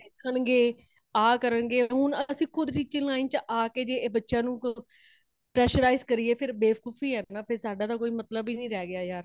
ਦੇਖਣ ਗੇ ਇਹ ਕਰਨ ਗੇ ,ਹੁਣ ਅਸੀ ਖੁਦ teaching line ਚ ਆ ਕੇ ਤੇ ਬੱਚਿਆਂ ਨੂੰ ,pressurise ਕਰੀਏ ਫਿਰ ਬੇਵਕੂਫ਼ੀ ਹੈ ਨਾ ,ਫੇਰ ਸਾਡਾ ਤੇ ਕੋਈ ਮਤਲੱਬ ਹੀ ਨਹੀਂ ਰਹੈ ਗਯਾ ਯਾਰ